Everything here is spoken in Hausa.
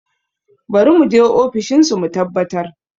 Bari mu je ofishin su mu tabbatar